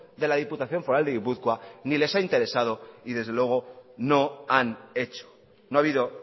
de la diputación foral de gipuzkoa ni les ha interesado ni desde luego no han hecho no ha habido